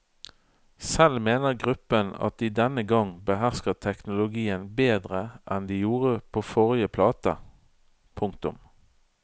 Selv mener gruppen at de denne gang behersker teknologien bedre enn de gjorde på forrige plate. punktum